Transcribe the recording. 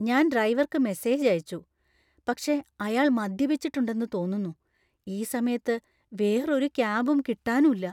ഞാൻ ഡ്രൈവർക്ക് മെസേജ് അയച്ചു, പക്ഷേ അയാൾ മദ്യപിച്ചിട്ടുണ്ടെന്നു തോന്നുന്നു, ഈ സമയത്ത് വേറൊരു ക്യാബും കിട്ടാനുല്ല .